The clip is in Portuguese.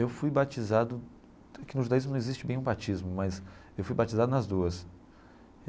Eu fui batizado, que no judaísmo não existe bem o batismo, mas eu fui batizado nas duas.